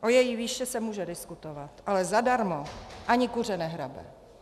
O její výši se může diskutovat, ale zadarmo ani kuře nehrabe.